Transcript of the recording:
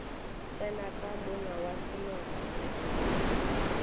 tsena ka monga wa seloko